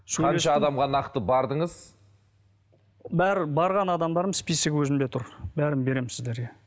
қанша адамға нақты бардыңыз барған адамдардым списогі өзімде тұр бәрін беремін сіздерге